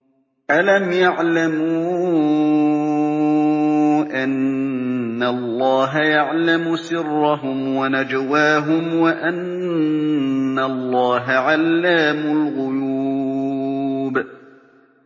أَلَمْ يَعْلَمُوا أَنَّ اللَّهَ يَعْلَمُ سِرَّهُمْ وَنَجْوَاهُمْ وَأَنَّ اللَّهَ عَلَّامُ الْغُيُوبِ